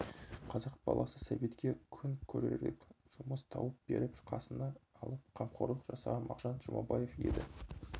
қазақ баласы сәбитке күн көрерлік жұмыс тауып беріп қасына алып қамқорлық жасаған мағжан жұмабаев еді